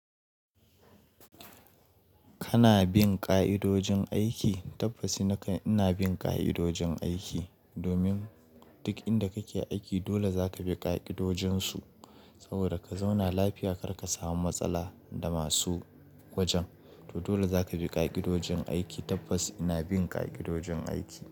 Kana bin ƙa'idojin aiki? Tabbas ina bin ƙa'idojin aiki, domin duk inda kake aiki dole zaka bi ƙa'idojin su. Saboda ka zauna lafiya kar ka samu matsala da masu wajen. To dole zaka bi ƙa'idojin aiki. Tabbas ina bin ƙa'idojin aiki.